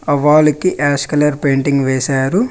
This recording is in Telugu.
ఆ వాల్ కి యాస్కాలర్ పెయింటింగ్ వేశారు.